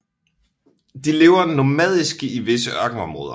De lever nomadisk i visse ørkenområder